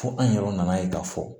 Fo an yɛrɛ nana ye k'a fɔ